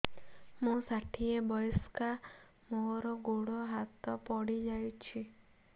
ମୁଁ ଷାଠିଏ ବୟସ୍କା ମୋର ଗୋଡ ହାତ ପଡିଯାଇଛି